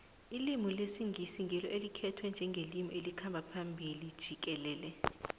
ilimi lesingisi ngilo elikhtwe njengelimi lomhlaba jikelele